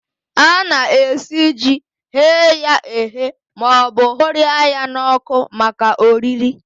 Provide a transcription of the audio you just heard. Ana-esi ji, ghee ya eghee maọbụ hụrịa ya n'ọkụ maka oriri